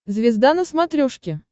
звезда на смотрешке